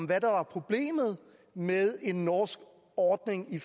hvad der var problemet med en norsk ordning i